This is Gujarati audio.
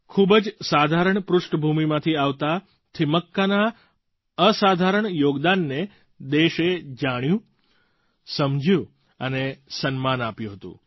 ખૂબ જ સાધારણ પૃષ્ઠભૂમાંથી આવતાં થિમક્કાના અસાધારણ યોગદાનને દેશે જાણ્યું સમજ્યું અને સન્માન આપ્યું હતું